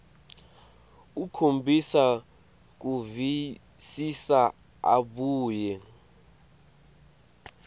ukhombisa kuvisisa abuye